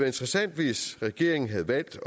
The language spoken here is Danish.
interessant hvis regeringen havde valgt